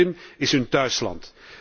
De Krim is hun thuisland.